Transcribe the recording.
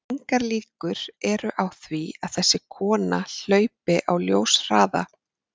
Engar líkur eru á því að þessi kona hlaupi á ljóshraða.